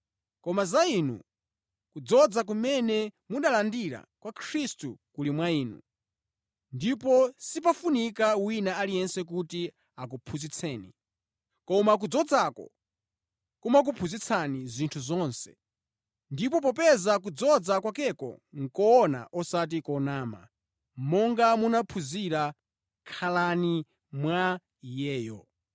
Koma za inu, kudzoza kumene munalandira kwa Khristu kuli mwa inu, ndipo sipafunika wina aliyense kuti akuphunzitseni. Koma kudzozako kumakuphunzitsani zinthu zonse, ndipo popeza kudzoza kwakeko nʼkoona osati konama, monga munaphunzira, khalani mwa Iyeyo.